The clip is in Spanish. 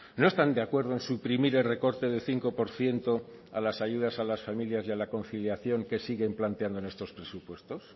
no están de acuerdo en suprimir el recorte de cinco por ciento a las ayudas a las familias y a la conciliación que siguen planteando en estos presupuestos